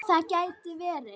Það gæti verið.